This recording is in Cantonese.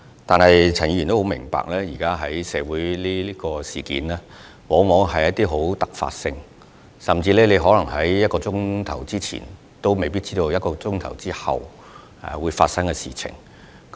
但是，陳議員亦須明白，現時社會發生的事件往往充滿突發性，甚至在1小時前也可能無法預知1小時後會發生甚麼事。